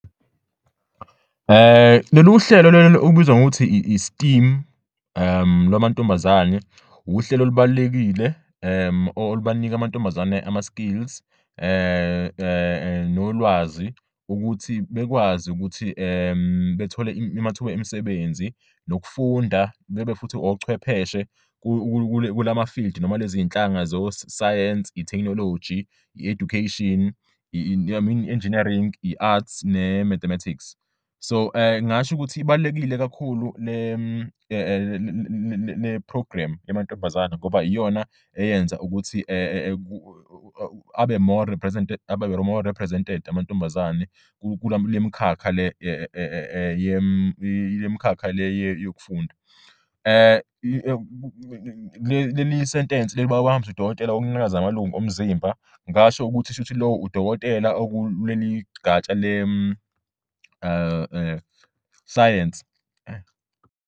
"Baye bahanjiswe kudokotela wokunyakaza kwamalungu omzimba, phecelezi i-occupational therapist, ukuze iqinisekise ukuthi umzimba wabo uyakwazi ukunyakaza ngendlela engabenza bakwazi ukushayela izimoto ezenzelwe abantu abakhubazekile ngaphandle kokubabeka engozini.